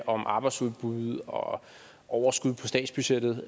om arbejdsudbud og overskud på statsbudgettet